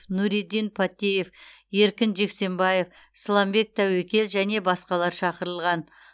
нуриддин паттеев еркін джексембаев сламбек тәуекел және басқалар шақырылған